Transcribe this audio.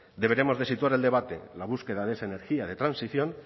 deberemos de situar el debate la búsqueda de esa energía de transición